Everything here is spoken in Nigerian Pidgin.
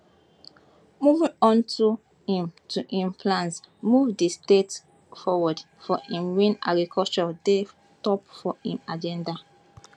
moving on to im to im plans move di state forward if im win agriculture dey top for im agenda